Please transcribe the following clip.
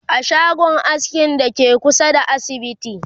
a shagon askin Dake kusa da asibiti